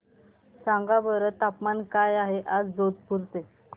सांगा बरं तापमान काय आहे आज जोधपुर चे